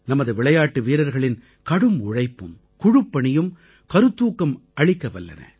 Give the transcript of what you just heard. நமது விளையாட்டு வீரர்களின் கடும் உழைப்பும் குழுப்பணியும் கருத்தூக்கம் அளிக்க வல்லன